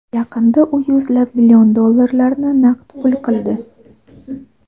Yaqinda u yuzlab million dollarlarni naqd pul qildi.